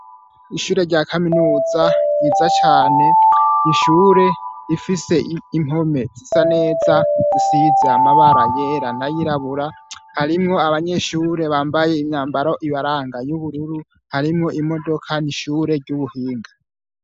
Ishure rya kaminuza ryiza cane ni ishure rifise impome zisa neza, zisize amabara yera n'ayirabura, harimwo abanyeshure bambaye imyambaro ibaranga y'ubururu, harimwo imodoka n'ishure ry'ubuhinga.